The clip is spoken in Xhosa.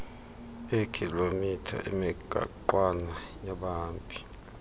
eekhilomitha emigaqwana yabahambi